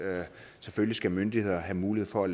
selvfølgelig skal myndigheder have mulighed for at